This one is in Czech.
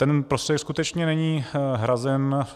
Ten prostředek skutečně není hrazen.